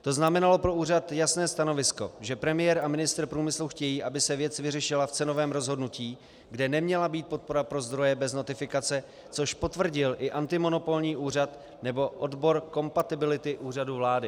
To znamenalo pro úřad jasné stanovisko, že premiér a ministr průmyslu chtějí, aby se věc vyřešila v cenovém rozhodnutí, kde neměla být podpora pro zdroje bez notifikace, což potvrdil i antimonopolní úřad nebo odbor kompatibility Úřadu vlády.